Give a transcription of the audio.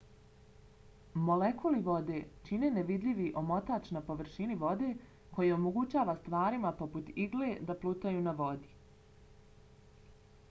molekuli vode čine nevidljivi omotač na površini vode koji omogućava stvarima poput igle da plutaju na vodi